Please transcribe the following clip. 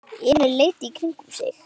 Emil leit í kringum sig.